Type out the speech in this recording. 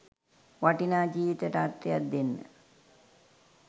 වටිනා ජීවිතයට අර්ථයක් දෙන්න.